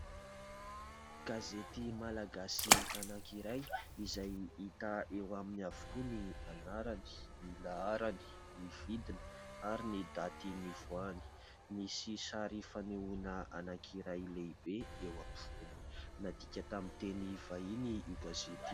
Gazety malagasy anakiray izay hita eo aminy avokoa : ny anarany, ny laharany, ny vidiny, ary ny daty nivoahany. Misy sary fanehoana anakiray lehibe eo ampovoany. Nadiaka tamin'ny teny vahiny io gazety.